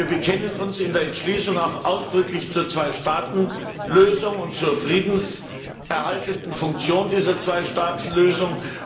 Wir bekennen uns in der Entschließung auch ausdrücklich zur Zweistaatenlösung und zur friedenserhaltenden Funktion dieser Zweistaatenlösung.